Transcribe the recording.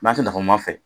N'a tɛgɛ nɔfɛ